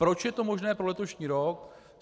Proč je to možné pro letošní rok.